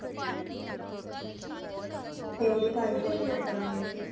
ਤੇ ਓਹਦੀ ਤਾਈ ਨੂੰ ਓਹਦੇ ਨਾਲ ਬੜਾ ਕੀ